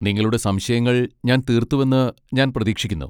നിങ്ങളുടെ സംശയങ്ങൾ ഞാൻ തീർത്തുവെന്ന് ഞാൻ പ്രതീക്ഷിക്കുന്നു.